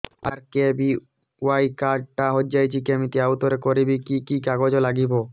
RKBY card ଟା ହଜିଯାଇଛି କିମିତି ଆଉଥରେ କରିବି କି କି କାଗଜ ଲାଗିବ